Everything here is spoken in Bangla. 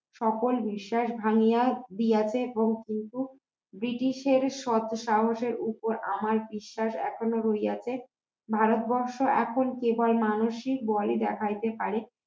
সকল বিশ্বাস ভাঙিয়া দিয়াছে এবং পূর্ব ব্রিটিশের সৎ সাহসের উপর আমার বিশ্বাস এখনো রইয়াছে ভারতবর্ষ এখন কেবল মানুষ ই ভয় দেখাইতে পারে